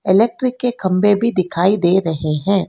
Electric के खंबे भी दिखाई दे रहे हैं।